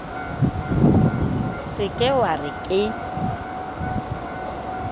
se ke wa re ke